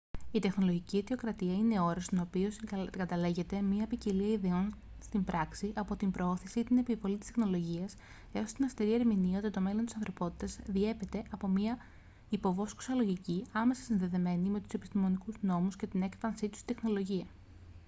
η τεχνολογική αιτιοκρατία είναι όρος στον οποίο συγκαταλέγεται μια ποικιλία ιδεών στην πράξη από την προώθηση ή την επιβολή της τεχνολογίας έως την αυστηρή ερμηνεία ότι το μέλλον της ανθρωπότητας διέπεται από μια υποβόσκουσα λογική άμεσα συνδεδεμένη με τους επιστημονικούς νόμους και την έκφανσή τους στην τεχνολογία